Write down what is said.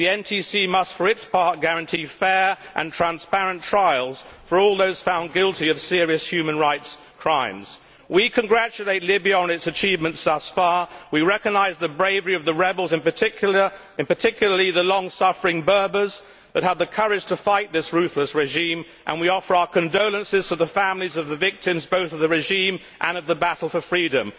The NTC must for its part guarantee fair and transparent trials for all those found guilty of serious human rights crimes. We congratulate Libya on its achievements thus far. We recognise the bravery of the rebels, in particular the long suffering Berbers, that had the courage to fight this ruthless regime, and we offer our condolences to the families of the victims both of the regime and of the battle for freedom.